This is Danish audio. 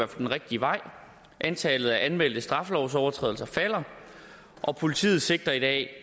den rigtige vej antallet af anmeldte straffelovsovertrædelser falder og politiet sigter i dag